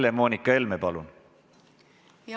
Helle-Moonika Helme, palun!